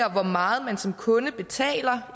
af hvor meget man som kunde betaler